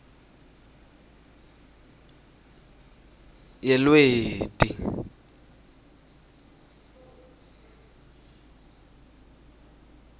yelweti